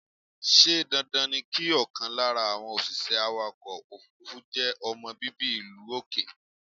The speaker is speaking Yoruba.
Ṣé dandan ni kí ọkàn lára àwọn òṣìṣẹ́ awàkọ̀ òfúrúfú je ọmọ bíbí ìlú òkè?